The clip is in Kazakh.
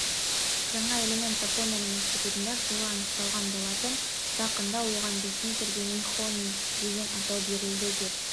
жаңа элемент жапонияның институтында жылы анықталған болатын жақында оған ресми түрде нихоний деген атау берілді деп